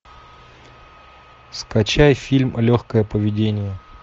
скачай фильм легкое поведение